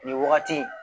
Nin wagati in